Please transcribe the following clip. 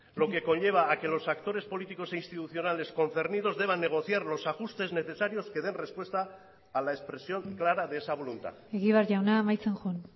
lo que conlleva a que los actores políticos e institucionales concernidos deban negociar los ajustes necesarios que den respuesta a la expresión clara de esa voluntad egibar jauna amaitzen joan